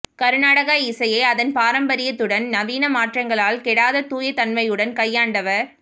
கருநாடக இசையை அதன் பாரம்பரியத்துடனும் நவீன மாற்றங்களால் கெடாத தூய தன்மையுடனும் கையாண்டவர்